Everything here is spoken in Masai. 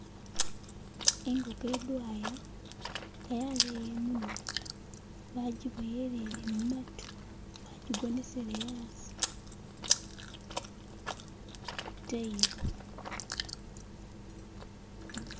Ingoko idwaya nga yaleya imunwa bagiboyelele mumatu bagigonesele haasi ku tailo,